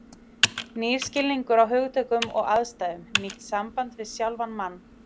Nýr skilningur á hugtökum og aðstæðum, nýtt samband við sjálfan mann.